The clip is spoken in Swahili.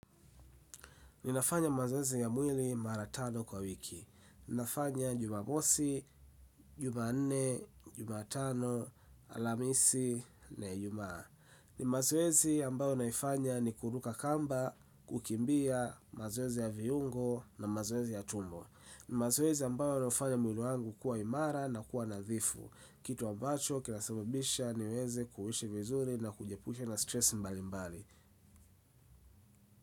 Ninafanya mazoezi ya mwili mara tano kwa wiki. Ninafanya jumamosi, jumanne, jumatano, alhamisi, na Ijumaa. Ni mazoezi ambayo naifanya ni kuruka kamba, kukimbia, mazoezi ya viungo na mazoezi ya tumbo. Ni mazoezi ambayo naifanya mwili wangu kuwa imara na kuwa nadhifu. Kitu ambacho, kinasabibisha niweze kuishi vizuri na kujiepusha na stress mbali mbali.